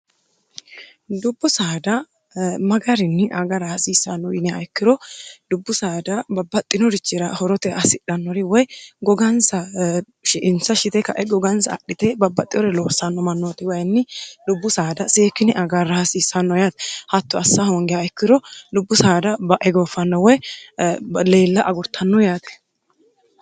dubbu saada magarinni agara haasiissanno yinniha ikkiro dubbu saada babbaxxinorichira horote assidhannori woy gogansa insa shite ka'e gogansa adhite babbaxxeore loossanno mannooti wayinni lubbu saada seekine agarra hasiissanno yaati hatto assa hoongiha ikkiro dubbu saada ba'e gooffanno woy leella agurtanno yaate.